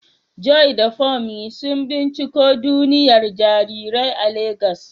Joy da Funmi sun binciko duniyar jarirai a Legas.